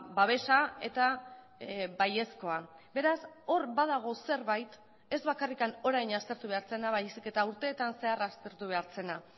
babesa eta baiezkoa beraz hor badago zerbait ez bakarrik orain aztertu behar zena baizik eta urteetan zehar aztertu behar zena